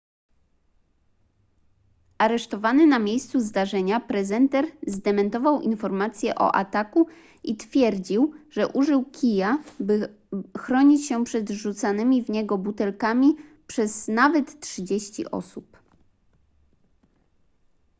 aresztowany na miejscu zdarzenia prezenter zdementował informacje o ataku i twierdził że użył kija by chronić się przed rzucanymi w niego butelkami przez nawet trzydzieści osób